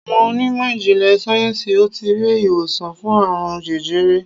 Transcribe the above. Awọn onímọ̀ ijinle sayensi o tii ri iwosan fun aarun jẹjẹrẹ